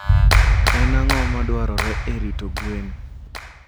En ang'o madwarore e rito gwen?